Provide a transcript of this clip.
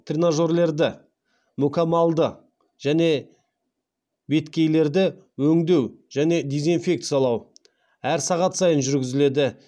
тренажерлерді мүкәммалды және беткейлерді өңдеу және дезинфекциялау әр сағат сайын жүргізіледі